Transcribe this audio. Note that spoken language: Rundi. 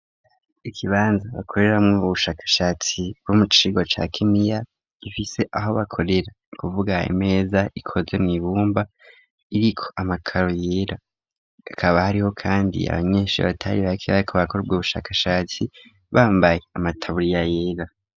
Ikibanza bakoreramo ubushakashatsi bw'umucirwa ca kimiya gifise aho bakorera. Ni kuvuga imeza ikoze mw 'ibumba iriko amakaro yera akaba hariho kandi abanyeshuri abatari baki ko bakora ubushakashatsi bambaye amataburiya yera.